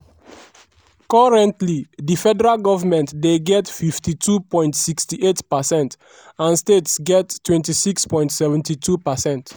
currently di federal goment dey get 52.68 percent and states get 26.72%.